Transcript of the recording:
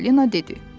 Çipalina dedi.